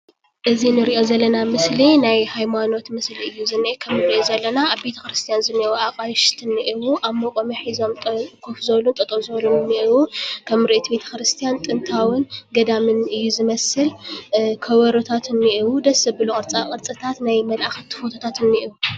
እዚ ንሪኦ ዘለና ምስሊ ናይ ሃይማኖት ምስሊ እዩ ዝኒአ፡፡ ከምንሪኦ ዘለና ኣብ ቤተ ክርስቲያን ዝኒአዉ ኣቓይሽቲ እኒአዉ፡፡ ኣብ መቖሚያ ሒዞም ኮፍ ዝበሉ፣ ጠጠው ዝበሉ እውን እኒአዉ፡፡ ከም ምርኢት ቤተ ክርስቲያን ጥንታውን ገዳምን እዩ ዝመስል፡፡ ከበሮታት እኒአዉ፡፡ ደስ ዘብሉ ቅርፃ ቕርፅታት ናይ መላእኽቲ ፎቶታት እኒአዉ፡፡